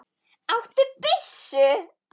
Áttu byssu?